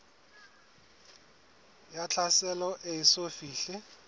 ya tlhaselo e eso fihle